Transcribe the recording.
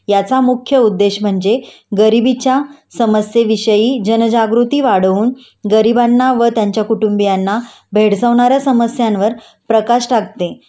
याचा मुख्य उद्धेश म्हणजे गरिबीच्या समस्येविषयी जनजागृती वाढवून गरिबांना व त्यांच्या कुटुंबियांना भेडसावणाऱ्या समस्यांवर प्रकाश टाकणे